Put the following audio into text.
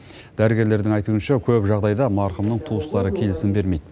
дәрігерлердің айтуынша көп жағдайда марқұмның туыстары келісім бермейді